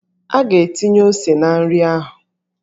Ọ ga-etinye ose na nri ahụ.